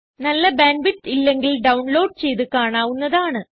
നല്ല bandwidth ഇല്ലെങ്കിൽ download ചെയ്ത് കാണാവുന്നതാണ്